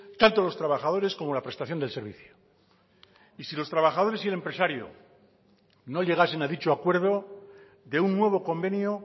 tanto los trabajadores como la prestación del servicio y si los trabajadores y el empresario no llegasen a dicho acuerdo de un nuevo convenio